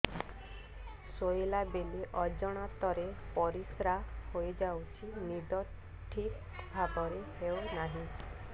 ଶୋଇଲା ବେଳେ ଅଜାଣତରେ ପରିସ୍ରା ହୋଇଯାଉଛି ନିଦ ଠିକ ଭାବରେ ହେଉ ନାହିଁ